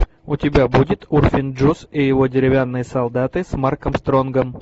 у тебя будет урфин джюс и его деревянные солдаты с марком стронгом